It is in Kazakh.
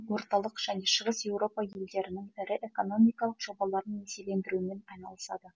орталық және шығыс еуропа елдерінің ірі экономикалық жобаларын несиелендірумен айналысады